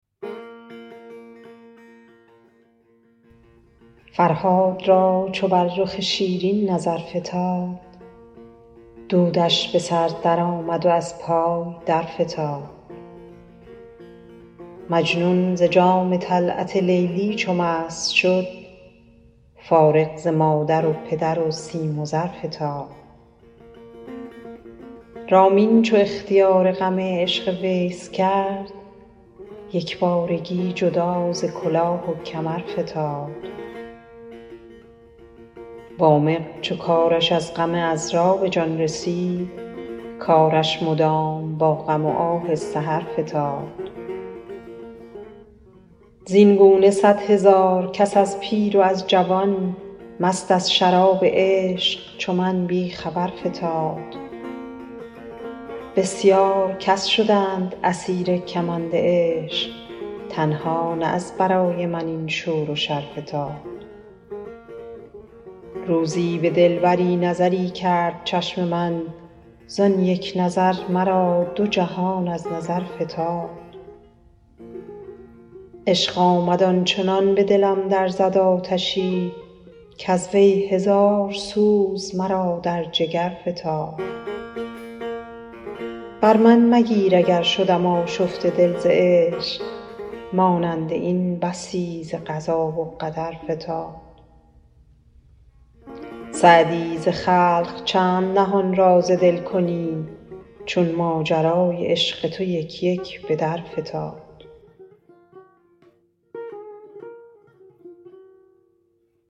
فرهاد را چو بر رخ شیرین نظر فتاد دودش به سر درآمد و از پای درفتاد مجنون ز جام طلعت لیلی چو مست شد فارغ ز مادر و پدر و سیم و زر فتاد رامین چو اختیار غم عشق ویس کرد یک بارگی جدا ز کلاه و کمر فتاد وامق چو کارش از غم عـذرا به جان رسید کارش مدام با غم و آه سحر فتاد زین گونه صدهزار کس از پیر و از جوان مست از شراب عشق چو من بی خبر فتاد بسیار کس شدند اسیر کمند عشق تنها نه از برای من این شور و شر فتاد روزی به دلبری نظری کرد چشم من زان یک نظر مرا دو جهان از نظر فتاد عشق آمد آن چنان به دلم در زد آتشی کز وی هزار سوز مرا در جگر فتاد بر من مگیر اگر شدم آشفته دل ز عشق مانند این بسی ز قضا و قدر فتاد سعدی ز خلق چند نهان راز دل کنی چون ماجرای عشق تو یک یک به در فتاد